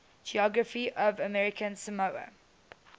geography of american samoa